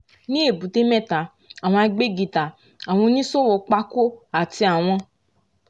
ní èbúté mẹ́ta àwọn agbẹ́gità àwọn oníṣòwò pákó àti àwọn